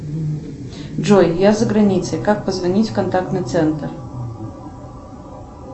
джой я за границей как позвонить в контактный центр